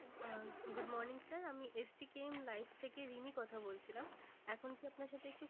আহ good morning sir আমি থেকে রিমি কথা বলছিলাম। এখন কি আপনার সাথে একটু